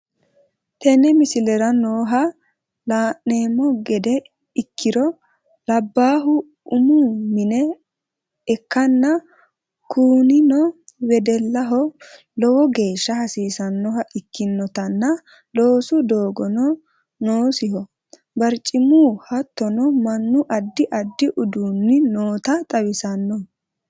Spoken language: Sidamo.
TEne miisilera nooha laanemo geede ekkiro laabalu uumu miine ekkana kuunino weedelaho loowo geesha haasisanoha ikkinotana loosu doogono noosiho baarcimuu hattono maanu addi addi udduni noota xawisanno.